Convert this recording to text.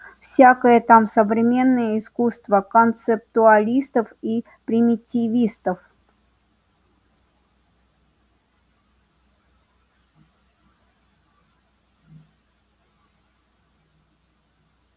всякое там современное искусство концептуалистов и примитивистов